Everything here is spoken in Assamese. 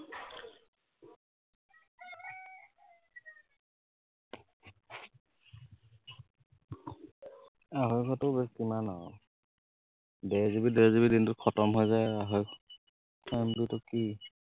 আঢ়ৈশটো যে কিমান আৰু, দেড় GB দেড় GB দিনটোত খটম হৈ যায় আঢ়ৈশ, MB টো কি